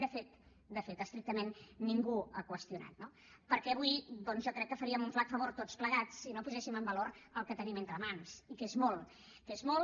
de fet de fet estrictament ningú l’ha qüestionat no perquè avui jo crec que faríem un flac favor tots plegats si no poséssim en valor el que tenim entre mans i que és molt que és molt